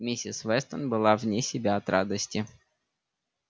миссис вестон была вне себя от радости